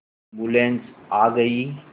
ambulance आ गई